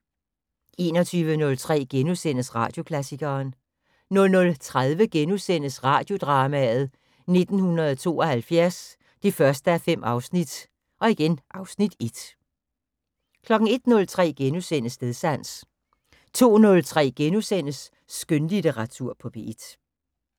21:03: Radioklassikeren * 00:30: Radiodrama: 1972 1:5 (Afs. 1)* 01:03: Stedsans * 02:03: Skønlitteratur på P1 *